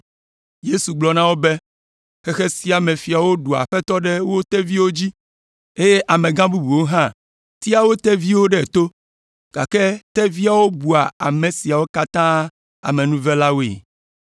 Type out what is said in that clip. Yesu gblɔ na wo be, “Xexe sia me fiawo ɖua aƒetɔ ɖe wo teviwo dzi, eye amegã bubuwo hã tea wo teviwo ɖe to, gake teviawo bua ame siawo katã amenuvelawoe.